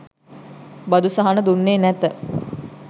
බදු සහන දුන්නේ නැත.